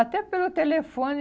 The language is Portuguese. Até pelo telefone,